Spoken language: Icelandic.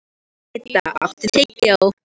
Idda, áttu tyggjó?